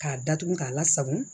K'a datugu k'a lasagon